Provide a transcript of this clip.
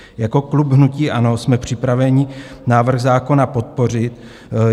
Jako klub hnutí ANO jsme připraveni návrh zákona podpořit.